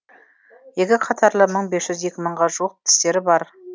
екі қатарлы мың бес жүз екі мыңға жуық тістері бар